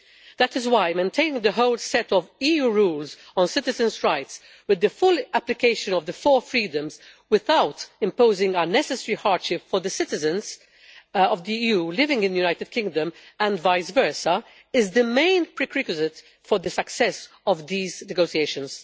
That is why maintaining the whole set of EU rules on citizens' rights, with the full application of the four freedoms and without imposing unnecessary hardship on the citizens of the EU living in the United Kingdom and vice versa, is the main prerequisite for the success of these negotiations.